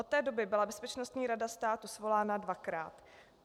Od té doby byla Bezpečnostní rada státu svolána dvakrát.